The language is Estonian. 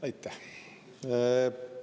Aitäh!